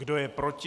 Kdo je proti?